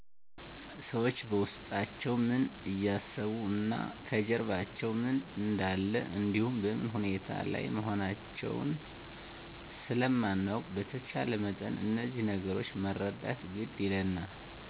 ሠዎች በውስጣቸው ምን እያሰቡ እና ከጀርባቸው ምን እንደለ እንዲሁ በምን ሁኔታ ላይ መሆናውን ስለማናውቅ በተቻለ መጠን እዚህ ነገሮች መረዳት ግድ ይለናል